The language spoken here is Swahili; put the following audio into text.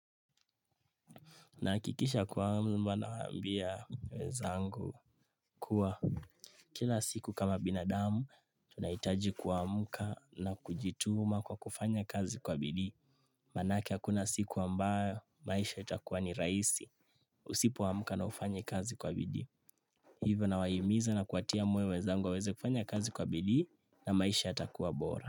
Nahakikisha kwamba na ambia wenzangu kuwa kila siku kama binadamu tunahitaji ku amka na kujituma kwa kufanya kazi kwa bidhii. Maana yake hakuna siku ambayo maisha itakuwa ni rahisi. Usipo amka na ufanye kazi kwa bidhii. Hivyo na wahimiza na kuatia wenzangu weza wa weze kufanya kazi kwa bidhii na maisha yatakuwa bora.